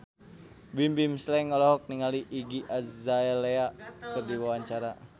Bimbim Slank olohok ningali Iggy Azalea keur diwawancara